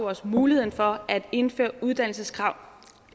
os muligheden for at indføre uddannelseskrav